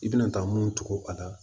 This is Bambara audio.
I bɛna taa mun tugun a la